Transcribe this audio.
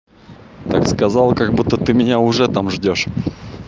так сказал как будто ты меня уже там ждёшь